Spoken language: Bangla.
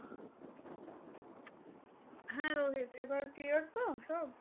হ্যাঁ রোহিত এবার clear তো সব?